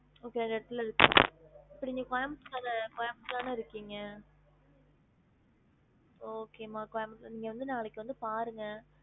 Okay ரெண்டு இடத்துல இருக்கு இப்ப நீங்க கோயம்புத்தூர் ல கோயம்புத்தூர்ல தான இருக்கீங்க okay மா கோயம்புத்தூர் நீங்க வந்து நாளைக்கு வந்து பாருங்க